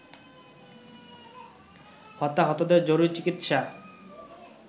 হতাহতদের জরুরি চিকিৎসা